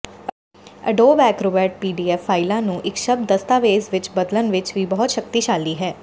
Adobe Acrobat PDF ਫਾਈਲਾਂ ਨੂੰ ਇੱਕ ਸ਼ਬਦ ਦਸਤਾਵੇਜ਼ ਵਿੱਚ ਬਦਲਣ ਵਿੱਚ ਵੀ ਬਹੁਤ ਸ਼ਕਤੀਸ਼ਾਲੀ ਹੈ